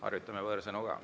Harjutame võõrsõnu ka.